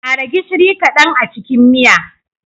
Ƙara gishiri kadan a cikin miya.